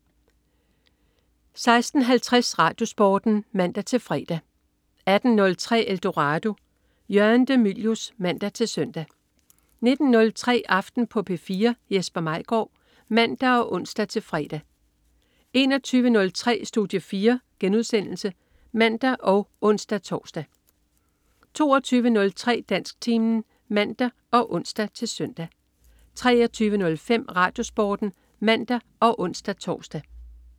16.50 RadioSporten (man-fre) 18.03 Eldorado. Jørgen de Mylius (man-søn) 19.03 Aften på P4. Jesper Maigaard (man og ons-fre) 21.03 Studie 4* (man og ons-tors) 22.03 Dansktimen (man og ons-søn) 23.05 RadioSporten (man og ons-tors)